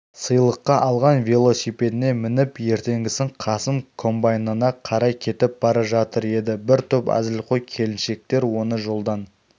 сыйлыққа алған велосипедіне мініп ертеңгісін қасым комбайнына қарай кетіп бара жатыр еді бір топ әзілқой келіншектер оны жолдан